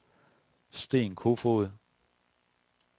Sten Koefoed